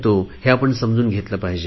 हे आपण समजून घेतले पाहिजे